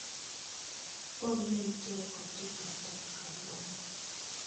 Pom ne nitiere kod tich matek kawuono